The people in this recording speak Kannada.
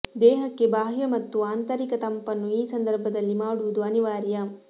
ದೇಹಕ್ಕೆ ಬಾಹ್ಯ ಮತ್ತು ಆಂತರಿಕ ತಂಪನ್ನು ಈ ಸಂದರ್ಭದಲ್ಲಿ ಮಾಡುವುದು ಅನಿವಾರ್ಯ